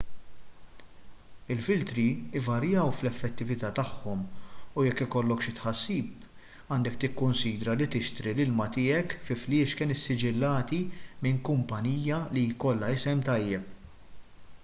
il-filtri jvarjaw fl-effettività tagħhom u jekk ikollok xi tħassib għandek tikkunsidra li tixtri l-ilma tiegħek fi fliexken issiġillati minn kumpanija li jkollha isem tajjeb